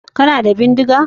Kana da bindiga?